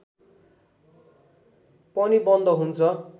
पनि बन्द हुन्छ